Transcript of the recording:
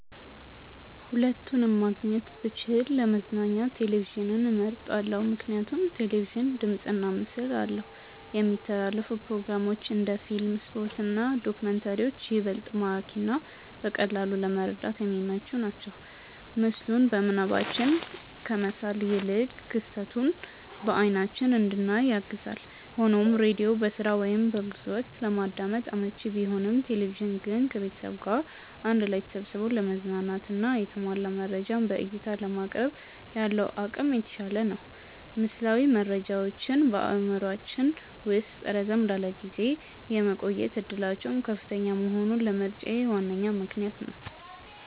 ሁለቱንም ማግኘት ብችል ለመዝናኛ ቴሌቪዥንን መርጣለው። ምክንያቱም ቴሌቪዥን ድምፅና ምስል አለው፣ የሚተላለፉ ፕሮግራሞች (እንደ ፊልም፣ ስፖርት እና ዶክመንተሪዎች) ይበልጥ ማራኪና በቀላሉ ለመረዳት የሚመቹ ናቸው። ምስሉን በምናባችን ከመሳል ይልቅ ክስተቱን በአይናችን እንድናይ ያግዛል። ሆኖም ሬዲዮ በስራ ወይም በጉዞ ወቅት ለማዳመጥ አመቺ ቢሆንም፣ ቴሌቪዥን ግን ከቤተሰብ ጋር አንድ ላይ ተሰብስቦ ለመዝናናትና የተሟላ መረጃን በዕይታ ለማቅረብ ያለው አቅም የተሻለ ነው። ምስላዊ መረጃዎች በአእምሯችን ውስጥ ረዘም ላለ ጊዜ የመቆየት ዕድላቸው ከፍተኛ መሆኑም ለምርጫዬ ዋነኛ ምክንያት ነው።